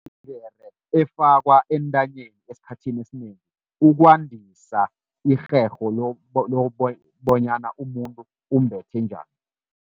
efakwa entanyeni esikhathini esinengi, ukwandisa irherho bonyana umuntu umbethe njani.